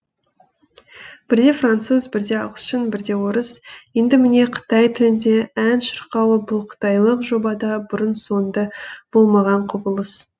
бірде француз бірде ағылшын бірде орыс енді міне қытай тілінде ән шырқауы бұл қытайлық жобада бұрын соңды болмаған құбылыс